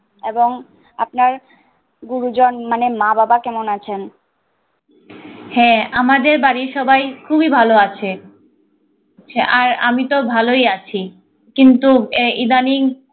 এবং আপনার গুরুজন মানে মা বাবা কেমন আছেন হ্যা আমাদের বাড়ি সবাই খুবিই ভালো আছে হ্যা আর আমি তো ভালো আছি কিন্তু এই edaning